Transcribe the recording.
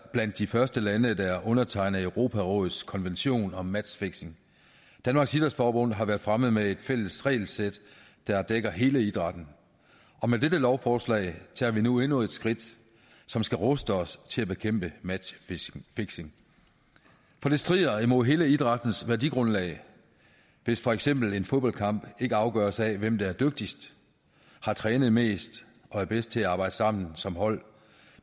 blandt de første lande der undertegnede europarådets konvention om matchfixing danmarks idrætsforbund har været fremme med et fælles regelsæt der dækker hele idrætten og med dette lovforslag tager vi nu endnu et skridt som skal ruste os til at bekæmpe matchfixing for det strider mod hele idrættens værdigrundlag hvis for eksempel en fodboldkamp ikke afgøres af hvem der er dygtigst har trænet mest og er bedst til at arbejde sammen som hold